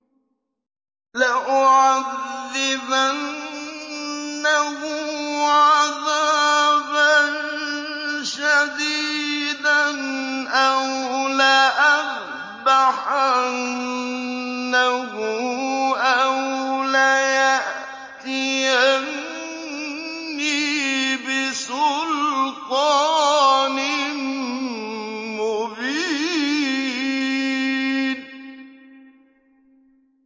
لَأُعَذِّبَنَّهُ عَذَابًا شَدِيدًا أَوْ لَأَذْبَحَنَّهُ أَوْ لَيَأْتِيَنِّي بِسُلْطَانٍ مُّبِينٍ